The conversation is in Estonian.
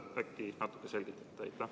Äkki natukene selgitate?